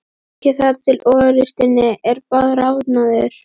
Bakið þar til osturinn er bráðnaður.